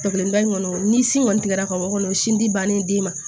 Kelenba in kɔni ni sin kɔni tigɛra ka bɔ o kɔnɔ o sin dilen den ma